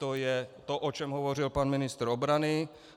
To je to, o čem hovořil pan ministr obrany.